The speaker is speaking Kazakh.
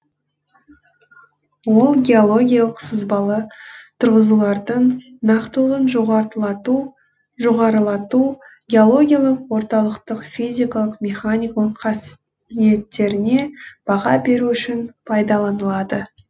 ол геологиялық сызбалы тұрғызулардың нақтылығын жоғарылату геологиялық орталықтық физикалық механикалық қасиеттеріне баға беру үшін пайдаланылады